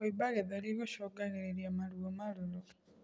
Kuimba gĩthũri gucungagirirĩa maruo marũrũ